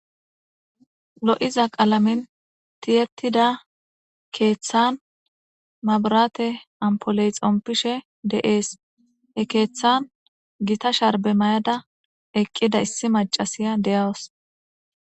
Lo'iza qalamen tiyettida keththa mabirratte ampuley xompishe de'es.he keththan giita sharbbe mayida eqqida issi maccahiya de'awus.